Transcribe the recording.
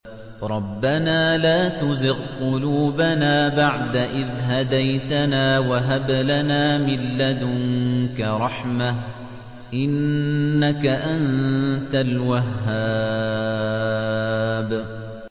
رَبَّنَا لَا تُزِغْ قُلُوبَنَا بَعْدَ إِذْ هَدَيْتَنَا وَهَبْ لَنَا مِن لَّدُنكَ رَحْمَةً ۚ إِنَّكَ أَنتَ الْوَهَّابُ